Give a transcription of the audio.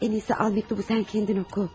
Ən iyisi al məktubu sən özün oxu.